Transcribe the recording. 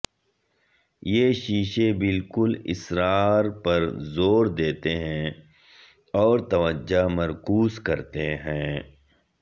یہ شیشے بالکل اسرار پر زور دیتے ہیں اور توجہ مرکوز کرتے ہیں